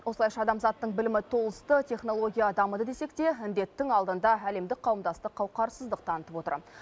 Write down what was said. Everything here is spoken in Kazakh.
осылайша адамзаттың білімі толысты технология дамыды десек те індеттің алдында әлемдік қауымдастық қауқарсыздық танытып отыр